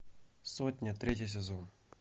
сотня третий сезон